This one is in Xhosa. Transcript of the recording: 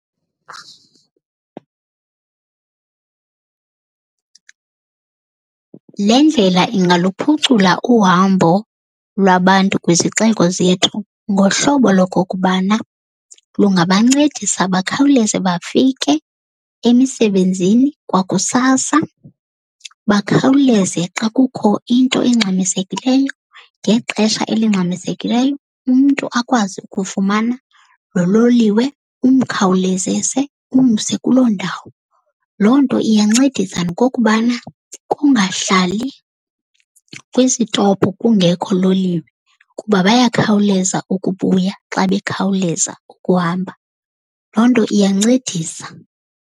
Le ndlela ingaluphucula uhambo lwabantu kwizixeko zethu ngohlobo lokokubana lungabancedisa bakhawuleze bafike emisebenzini kwakusasa. Bakhawuleze xa kukho into engxamisekileyo ngexesha elingxamisekileyo umntu akwazi ukufumana lo loliwe umkhawulezese umse kuloo ndawo. Loo nto iyancedisa nokokubana kungahlali kwisitopu kungekho loliwe, kuba bayakhawuleza ukubuya xa bekhawuleza ukuhamba. Loo nto iyancedisa.